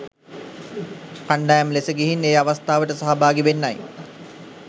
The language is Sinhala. කණ්ඩායම් ලෙස ගිහින් ඒ අවස්ථාවට සහභාගී වෙන්නයි